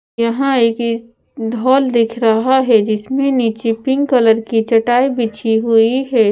यहां एक ढॉल दिख रहा है जिसमें नीचे पिंक कलर की चटाई बिछी हुई है।